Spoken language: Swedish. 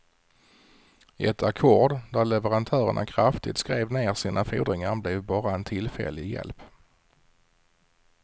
Ett ackord där leverantörerna kraftigt skrev ner sina fordringar blev bara en tillfällig hjälp.